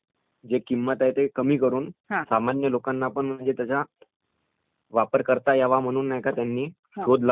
सामान्य लोकांनापण म्हणजे त्याचा वापर करता यावा म्हणून नाही का त्यांनी शोध लावला.....आणि म्हणजे त्याला